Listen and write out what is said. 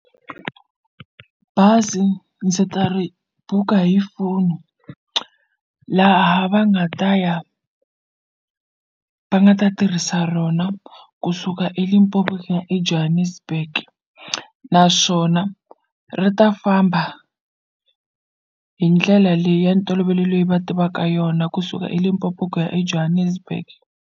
Bazi ndzi ta ri buka hi foni laha va nga ta ya va nga ta tirhisa rona kusuka eLimpopo ku ya eJohannesburg naswona ri ta famba hi ndlela leyi ya ntolovelo leyi va tivaka yona kusuka eLimpopo ku ya eJohannesburg.